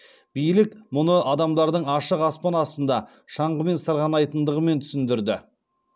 билік мұны адамдардың ашық аспан астында шаңғымен сырғанайтындығымен түсіндірді